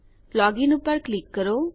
login પર click કરો